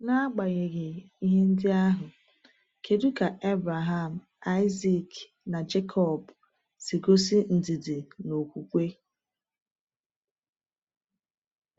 N’agbanyeghị ihe ndị ahụ, kedu ka Abraham, Isaac, na Jekọb si gosi ndidi na okwukwe?